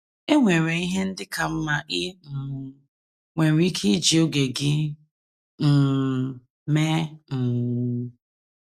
E nwere ihe ndị ka mma i um nwere ike iji oge gị um mee um.